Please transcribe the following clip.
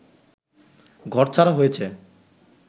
ঘরছাড়া হয়েছে